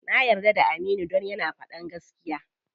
Na yarda da Aminu dan yana faɗan gaskiya.